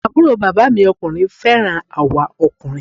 Àbúrò bàbá mi ọkùnrin fẹ́ràn àwa ọkùnrin